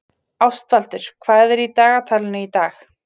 Ástvaldur, hvað er í dagatalinu í dag?